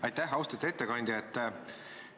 Aitäh, austatud ettekandja!